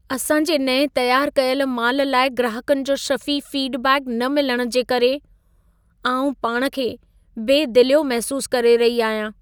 असां जे नएं तयारु कयल माल लाइ ग्राहकनि जो शफ़ी फीडबैक न मिलण जे करे, आउं पाण खे बेदिलियो महसूसु करे रही आहियां।